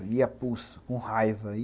E ia apulso, com raiva.